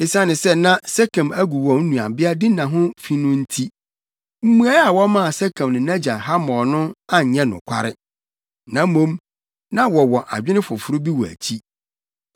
Esiane sɛ na Sekem agu wɔn nuabea Dina ho fi no nti, mmuae a wɔmaa Sekem ne nʼagya Hamor no anyɛ nokware. Na mmom, na wɔwɔ adwene foforo bi wɔ akyi.